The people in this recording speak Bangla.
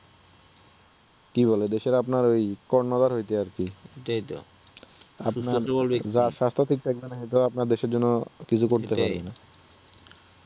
কি বলে দেশের আপনার কর্ণধার হইতে আরকি আপনার যার স্বাস্থ্য ঠিক থাকবে না সে তো আপনার দেশের জন্য কিছু করতে পারবে না